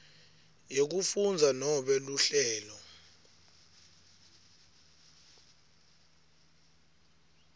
yekufundza nobe luhlelo